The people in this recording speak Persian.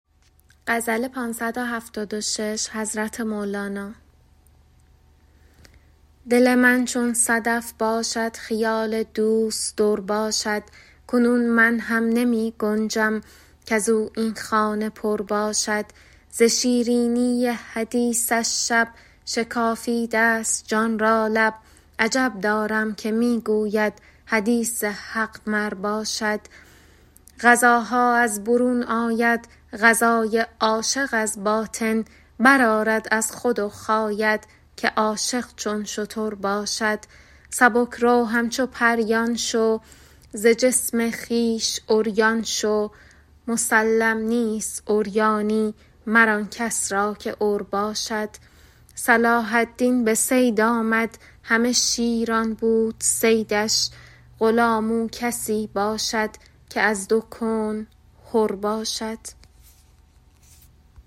دل من چون صدف باشد خیال دوست در باشد کنون من هم نمی گنجم کز او این خانه پر باشد ز شیرینی حدیثش شب شکافیده ست جان را لب عجب دارم که می گوید حدیث حق مر باشد غذاها از برون آید غذای عاشق از باطن برآرد از خود و خاید که عاشق چون شتر باشد سبک رو همچو پریان شو ز جسم خویش عریان شو مسلم نیست عریانی مر آن کس را که عر باشد صلاح الدین به صید آمد همه شیران بود صیدش غلام او کسی باشد که از دو کون حر باشد